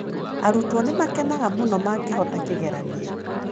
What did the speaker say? Arutwo nĩ makenaga mũno mangĩhota kĩgeranio.